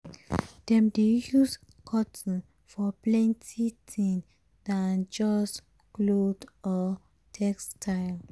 dem dey use cotton for plenty thing dan just cloth or textile.